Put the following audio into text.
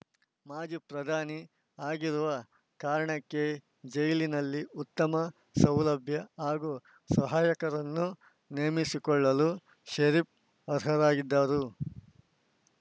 ಮಾಜಿ ಪ್ರಧಾನಿ ಆಗಿರುವ ಕಾರಣಕ್ಕೆ ಜೈಲಿನಲ್ಲಿ ಉತ್ತಮ ಸೌಲಭ್ಯ ಹಾಗೂ ಸಹಾಯಕರನ್ನು ನೇಮಿಸಿಕೊಳ್ಳಲು ಷರೀಫ್‌ ಅರ್ಹರಾಗಿದ್ದರು